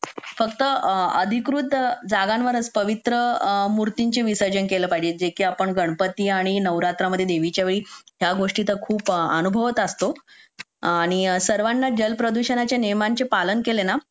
फक्त अधिकृत जगांवरच पवित्र मूर्तीचं विसर्जन केलं पाहिजे जे की आपण गणपती आणि नवरात्राच्या वेळी त्या गोष्टी तर खूप अनुभवत असतो आणि सर्वांनी कर जल प्रदूषणाचे नियमांचे पालन केले ना